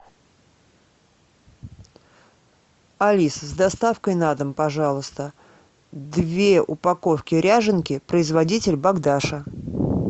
алиса с доставкой на дом пожалуйста две упаковки ряженки производитель богдаша